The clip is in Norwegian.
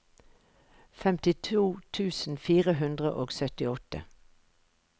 femtito tusen fire hundre og syttiåtte